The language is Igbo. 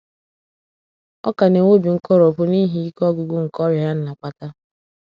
Ọ ka na - enwe obi nkoropụ n’ihi ike ọgwụgwụ nke ọrịa ya na - akpata.